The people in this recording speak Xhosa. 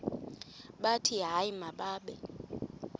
bathi hayi mababe